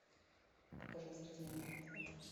покажи ассортимент напитков